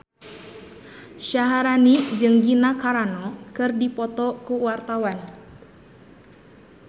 Syaharani jeung Gina Carano keur dipoto ku wartawan